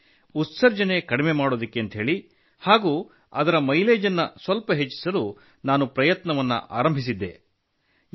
ಹೀಗಾಗಿ ಉತ್ಸರ್ಜನೆ ಕಡಿಮೆ ಮಾಡಲು ಹಾಗೂ ಅದರ ಮೈಲೇಜ್ ಅನ್ನು ಸ್ವಲ್ಪ ಹೆಚ್ಚಿಸಲು ನಾನು ಪ್ರಯತ್ನ ಆರಂಭಿಸಿದ್ದೆ